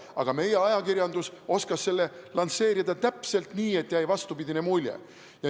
Aga meie ajakirjandus oskas seda lansseerida täpselt nii, et jäi vastupidine mulje.